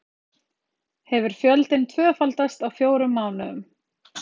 Hefur fjöldinn tvöfaldast á fjórum mánuðum